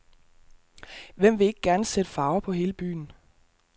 Hvem vil ikke gerne sætte farver på hele byen.